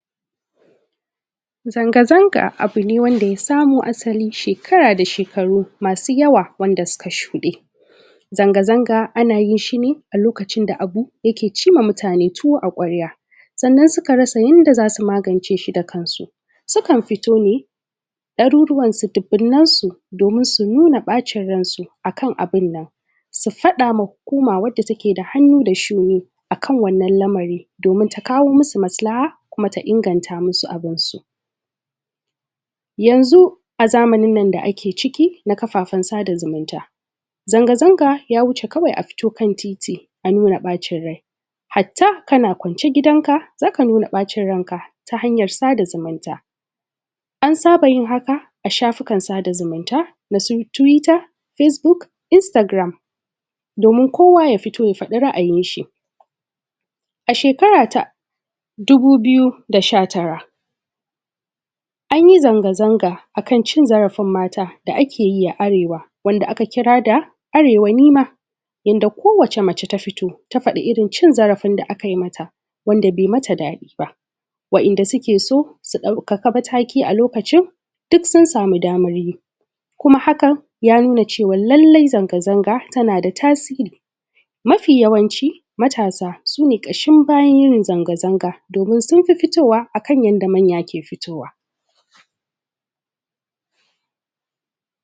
Zanga zanga abune wanda ya samo asali shekara da shekaru masu yawa, wanda suka shuɗe zanga zanga anayinshi ne a lokacin da abu yake cimma mutane tuwo a kwarya, sannan suka rasa yanda zasu magance shi da kansu sukan fito ne ɗaruruwan su dubunnen su domin su nuna ɓacin ransu akan abunnnan, su fadama hukuma wanda take da hannu da shuni akan wannan lamari domin ta kawo musu maslaha kuma ta inganta musu abunsu. yanzu a zamanin nan da ake ciki na kafafen sada zumunta, zanga zanga ya wuce ka wai a fito kan titi a nuna ɓacin rai hatta kana kwance gidan ka zaka nuna ɓa cin ranka ta hanyar sada zumunta, an saba yin haka a shafu kan sada zumunta nasu tuwita, fesbuk, instagram domin kowa ya fito ya faɗa ra’ayinshi, a shekara ta dubu biyu da sha tara, anyi zanga zanga akan cin zara fin mata da ake yi a arewa wanda aka kira da arewa nima yanda ko wata mace ta fito ta fadi irin cin zarafinda akay mata wanda bai mata daɗiba Wa'inda sukeso su ɗauka mataki a lokacin duk sun sami damaryi kuma haka ya nuna cewan la llai zanga zanga tanada tasiri, mafi yawanci matasa su ne ƙa shin bayan yin zanga zanga kuma sunfi fitowa akan yanda manya ke fitowa.